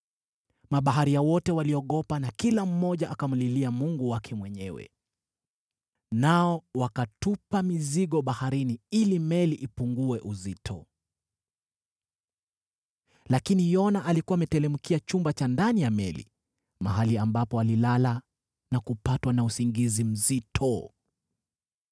Mabaharia wote waliogopa na kila mmoja akamlilia mungu wake mwenyewe. Nao wakatupa mizigo baharini ili meli ipungue uzito. Lakini Yona alikuwa ameteremkia chumba cha ndani ya meli, mahali ambapo alilala na kupatwa na usingizi mzito.